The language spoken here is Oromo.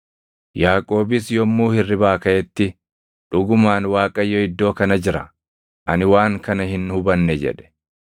Yaaqoobis yommuu hirribaa kaʼetti, “Dhugumaan Waaqayyo iddoo kana jira; ani waan kana hin hubanne” jedhe.